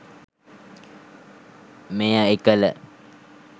මෙය එකල